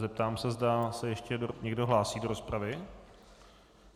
Zeptám se, zda se ještě někdo hlásí do rozpravy.